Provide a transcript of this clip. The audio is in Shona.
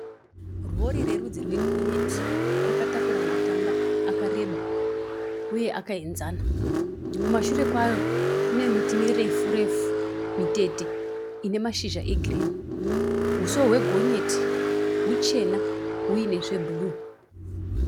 Rori rerudzi rwe gonyeti. Rakatakura matanda akareba uye akaenzana kumashure kwaro kune miti mirefu refu mitete ine mashizha e girini. Huso hwe gonyeti huchena huine zve bhuruu.